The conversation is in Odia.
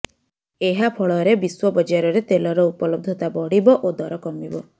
ଏହା ଫଳରେ ବିଶ୍ୱ ବଜାରରେ ତେଲର ଉପଲବ୍ଧତା ବଢିବ ଓ ଦର କମିବ